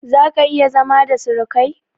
Zaka/iya zama da surukai?